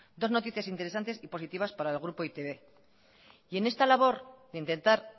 dos noticias interesantes y positivas para el grupo e i te be y en esta labor de intentar